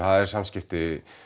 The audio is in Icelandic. er samskipti